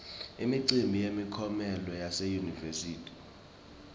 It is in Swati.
imicimbi yemiklomelo yase yunivesi